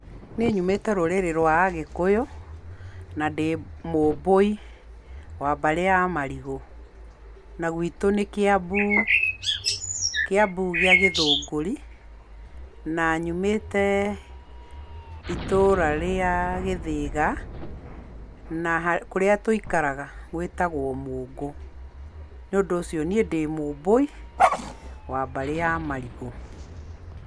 Niĩ nyumĩte rũrĩrĩ rwa Agĩkũyũ, na ndĩ Mũmbũi wa mbarĩ ya Marigũ na gwĩtũ nĩ Kiambu, Kĩambu gĩa Gĩthũngũri na nyumĩte itũra rĩa Gĩthĩga, na kũrĩa tũikaraga gwĩtagwo Mũngũ. Nĩũndũ ũcio niĩ ndĩ Mũmbũi wa mbarĩ ya Marigũ.